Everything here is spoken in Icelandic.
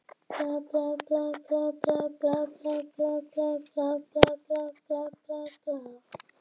Og hann átti að hafa útskýrt fyrir mér hvernig ég ætti að halda á því.